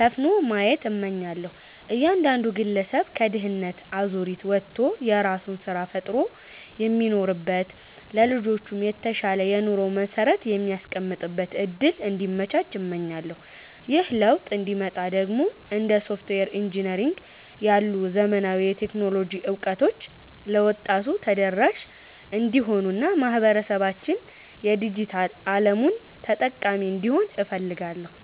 ሰፍኖ ማየት እመኛለሁ። እያንዳንዱ ግለሰብ ከድህነት አዙሪት ወጥቶ የራሱን ስራ ፈጥሮ የሚኖርበት፣ ለልጆቹም የተሻለ የኑሮ መሰረት የሚያስቀምጥበት እድል እንዲመቻች እመኛለሁ። ይህ ለውጥ እንዲመጣ ደግሞ እንደ ሶፍትዌር ኢንጂነሪንግ ያሉ ዘመናዊ የቴክኖሎጂ እውቀቶች ለወጣቱ ተደራሽ እንዲሆኑና ማህበረሰባችን የዲጂታል አለሙ ተጠቃሚ እንዲሆን እፈልጋለሁ።